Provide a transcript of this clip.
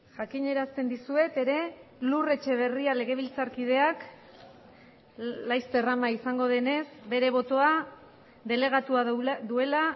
jakinarazten dizuet ere lur etxeberria legebiltzarkideak laster ama izango denez bere botoa delegatua duela